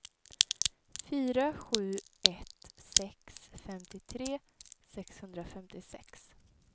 fyra sju ett sex femtiotre sexhundrafemtiosex